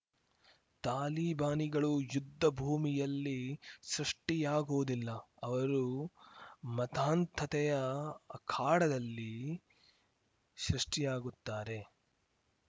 ತಾಲಿಬಾನಿಗಳು ಯುದ್ಧ ಭೂಮಿಯಲ್ಲಿ ಸೃಷ್ಠಿಯಾಗುವುದಿಲ್ಲ ಅವರು ಮತಾಂಧತೆಯ ಅಖಾಡದಲ್ಲಿ ಸೃಷ್ಟಿಯಾಗುತ್ತಾರೆ